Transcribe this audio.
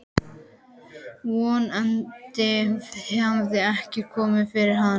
Von andi hefur ekkert komið fyrir hana.